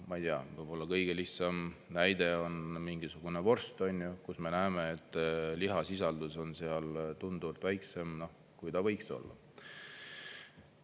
Ma ei tea, võib-olla kõige lihtsam näide on mingisugune vorst, kus me näeme, et lihasisaldus on seal tunduvalt väiksem, kui ta võiks olla.